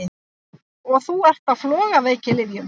Og þú ert á flogaveikilyfjum!